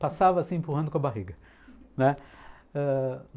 Passava assim, empurrando com a barriga.